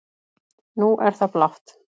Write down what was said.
Nú er það blátt